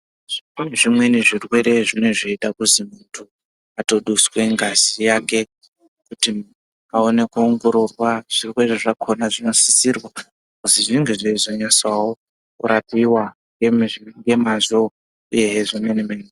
Kune zvimweni zvirwere zvinenge zveida kuti muntu aduswe ngazi yake kuti muntu aone kuongororwa zviro zvake zvinosisirwa kuti zvinge zveirapiwa nemazvo uyehe zvimweni mweni.